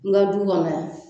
Nka du kɔnɔ yan.